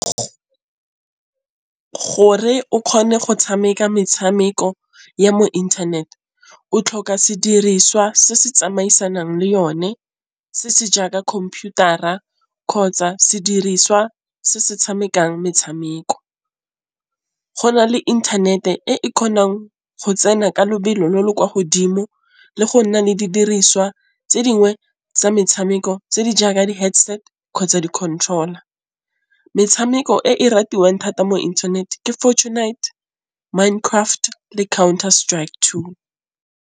Gore o kgone go tšhameka metšhameko ya mo inthaneteng o tlhoka sediriswa se se tsamaisanang le yone se se jaaka computer-a kgotsa sediriswa se se tšhamekang metšhameko. Go na le inthanete e kgonang go tsena ka lebelo le le kwa godimo le go nna le didiriswa tse dingwe tsa metshameko tse di jaaka di headset kgotsa di-controller. Metšhameko e e ratiwang thata mo internet ke Fortnite, Mind Craft le Counter Strike Two.